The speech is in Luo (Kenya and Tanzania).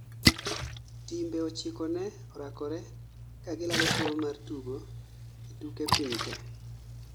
Timbr ochiko ne orakore kagilaro thuolo mar tugo e tuke piny te